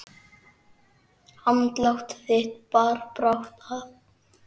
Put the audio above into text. Andlát þitt bar brátt að.